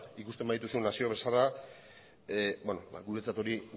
ikusten badituzu nazio bezala guretzat hori